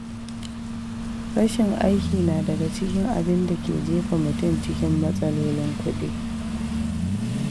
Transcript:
Rashin aiki na daga cikin abinda ke jefa mutum cikin matsalolin kuɗi.